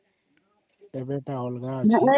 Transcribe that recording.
ଏବେ ଟା ଅଲଗା ଅଛି